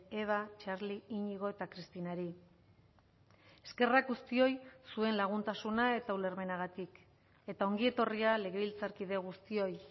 eba txarli iñigo eta cristinari eskerrak guztioi zuen laguntasuna eta ulermenagatik eta ongietorria legebiltzarkide guztioi